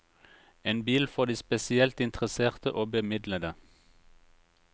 En bil for de spesielt interesserte og bemidlede.